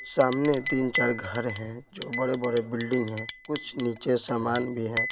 सामने तीन-चार घर हैं जो बड़े-बड़े बिल्डिंग हैं कुछ नीचे सामान भी है।